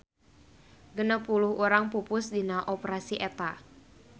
Genep puluh urang pupus dina operasi eta.